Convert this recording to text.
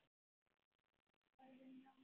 Borðum rólega.